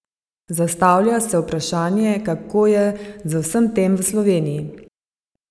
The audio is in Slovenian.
Zastavlja se vprašanje, kako je z vsem tem v Sloveniji?